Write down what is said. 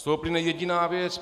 Z toho plyne jediná věc.